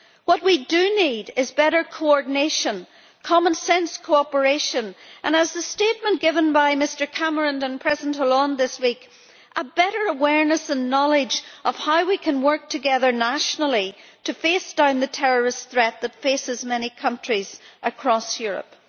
What we do need is better coordination, common sense cooperation and, as in the statement given by Mr Cameron and President Hollande this week, a better awareness and knowledge of how we can work together nationally to face down the terrorist threat that faces many countries across Europe.